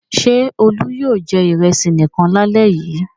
Ṣé Olú yóò jẹ ìrẹsì nìkan lálẹ́ yìí?